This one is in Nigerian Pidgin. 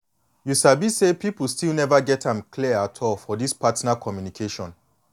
you sabi say people still never get am clear at all for this partner communication